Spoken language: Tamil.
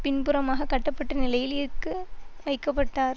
பின்புறமாகக் கட்டப்பட்ட நிலையில் இற்கு வைக்க பட்டார்